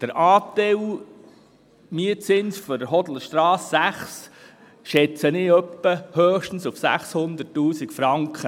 Der Anteil des Mietzinses für die Hodlerstrasse 6 schätze ich auf höchstens 600 000 Franken.